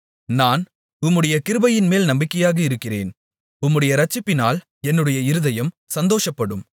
நான் உம்முடைய கிருபையின்மேல் நம்பிக்கையாக இருக்கிறேன் உம்முடைய இரட்சிப்பினால் என்னுடைய இருதயம் சந்தோஷப்படும்